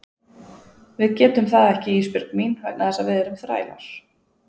Við getum það ekki Ísbjörg mín vegna þess að við erum þrælar.